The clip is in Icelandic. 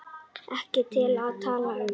Ekki til að tala um.